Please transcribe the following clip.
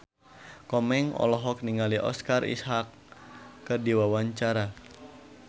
Komeng olohok ningali Oscar Isaac keur diwawancara